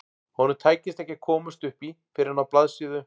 Honum tækist ekki að komast upp í fyrr en á blaðsíðu